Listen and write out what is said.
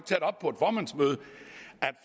er